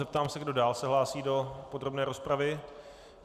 Zeptám se, kdo dál se hlásí do podrobné rozpravy.